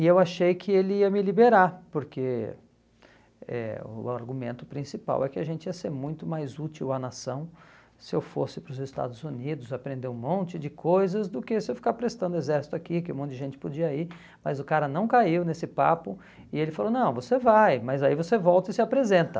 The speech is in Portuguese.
e eu achei que ele ia me liberar, porque eh o argumento principal é que a gente ia ser muito mais útil à nação se eu fosse para os Estados Unidos, aprender um monte de coisas, do que se eu ficar prestando exército aqui, que um monte de gente podia ir, mas o cara não caiu nesse papo, e ele falou, não, você vai, mas aí você volta e se apresenta.